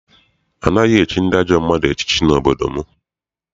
Anaghị echi ndị ajọ mmadụ echiche n'obodo m.